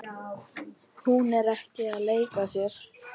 Hún er að leika sér.